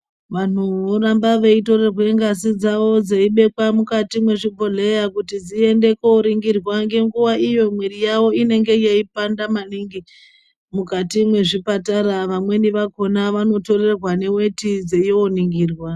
Vanhu voramba veitorerwe ngazi dzawo dzeibhekwa mukati mwezvibhodhleya kuti dziende koningirwa ngenguwa iyo mwiri yawo inenga yeipanda maningi mukati mwezvipatara vamweni vakhona vanotorerwa neweti dzeindoningirwa.